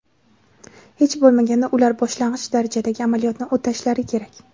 Hech bo‘lmaganda ular boshlang‘ich darajadagi amaliyotni o‘tashlari kerak.